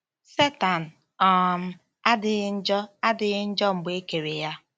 Setan um adịghị njọ adịghị njọ mgbe e kere ya.